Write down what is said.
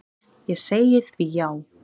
Ég segi því já.